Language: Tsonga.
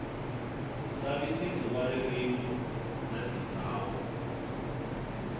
ndzavisiso wa ririmi na tindhawu